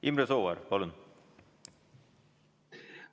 Imre Sooäär, palun!